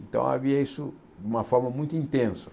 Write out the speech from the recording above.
Então havia isso de uma forma muito intensa.